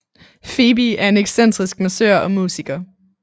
Phoebe er en excentrisk massør og musiker